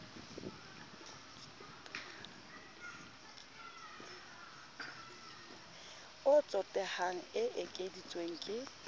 o tsotehang e ekeditswe ke